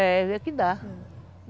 É, ver no que dá.